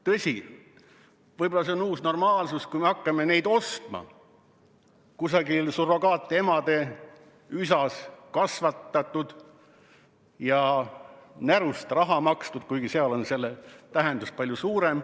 Tõsi, võib-olla on see uus normaalsus, kui me hakkame ostma neid, kes on kusagil surrogaatema üsas kasvatatud ja kelle eest on närust raha makstud, kuigi seal on selle tähendus palju suurem ...